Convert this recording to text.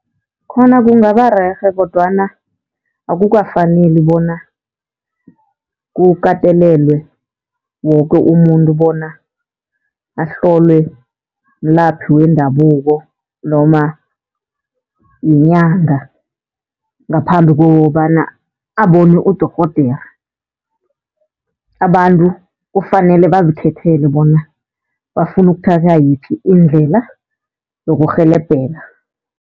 Khona kungabarerhe kodwana akukafaneli bona kukatelelwe woke umuntu bona ahlolwe mlaphi wendabuko, noma yinyanga ngaphambi kokobana abone udorhodera. Abantu kufanele bazikhethele bona bafuna ukuthatha yiphi indlela yokurhelebheka.